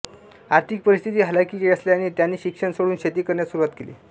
आर्थिक परिस्थिती हलाखीची असल्याने त्यांनी शिक्षण सोडून शेती करण्यास सुरुवात केली